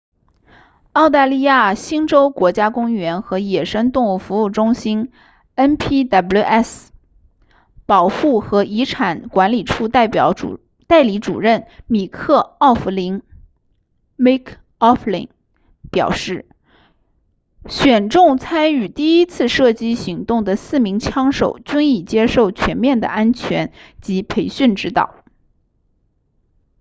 澳大利亚新州国家公园和野生动物服务中心 npws 保护和遗产管理处代理主任米克奥弗林 mick o'flynn 表示选中参与第一次射击行动的四名枪手均已接受全面的安全及培训指导